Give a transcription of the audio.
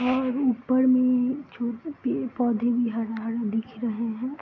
और ऊपर में छोटे पेड़-पौधे भी हरा-हरा दिख रहे हैं।